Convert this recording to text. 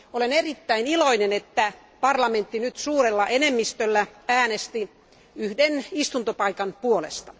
Olen erittäin iloinen, että parlamentti nyt suurella enemmistöllä äänesti yhden istuntopaikan puolesta.